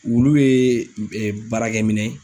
Wulu bɛ baarakɛ minɛn